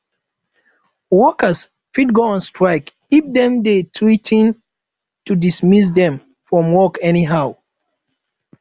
workers fit go on strike if dem de threa ten to dismiss them from work anyhow